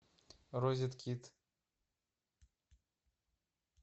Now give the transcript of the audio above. розеткид